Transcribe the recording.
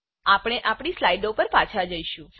આપણે આપણી સ્લાઇડો પર પાછા જઈશું